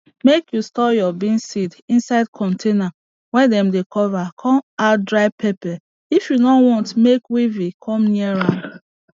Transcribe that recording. make you store your bean seeds inside container wey dem cover com add dry pepper if you nor want make weevil com near am